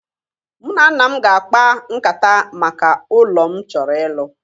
Mụ na nna m ga-akpa nkata maka ụlọ m chọrọ ịlụ